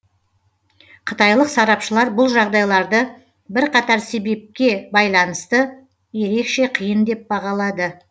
қытайлық сарапшылар бұл жағдайларды бірқатар себепке байланысты ерекше қиын деп бағалады